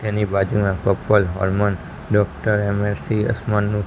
તેની બાજુના couple doctor --